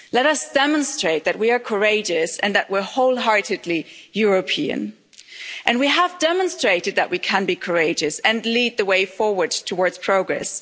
Let us demonstrate that we are courageous and that we're wholeheartedly European, and we have demonstrated that we can be courageous and lead the way forward towards progress.